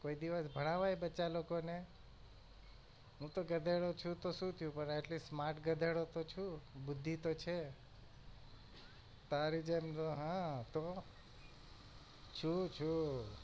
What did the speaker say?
કોઈ દિવસ ભણાવાય બચ્ચા લોકો ને? હું તો ગધેડો છુ તો શું થયું at list smart ગધેડો તો છું બુદ્ધી તો છે તારી જેમ આહ તો છું છું.